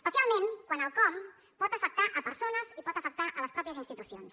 especialment quan el com pot afectar persones i pot afectar les mateixes institucions